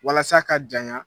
Walasa ka janya